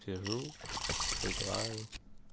сижу играю